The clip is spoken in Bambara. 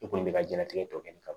I kɔni bɛ ka jiyɛnlatigɛ tɔ kɛ nin ka